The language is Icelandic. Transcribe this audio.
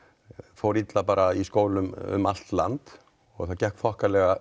fór illa bara í skólum um allt land það gekk þokkalega